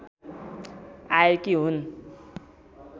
आएकी हुन्